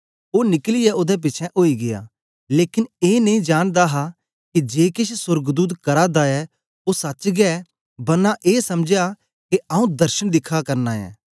ओ निकलियै ओदे पिछें ओई गीया लेकन ए नेई जानदा हा के जे केछ सोर्गदूत करा दा ऐ ओ सच्च गै बरना ए समझया के आंऊँ दर्शन दिखा करना ऐं